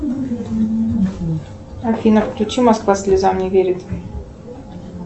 афина включи москва слезам не верит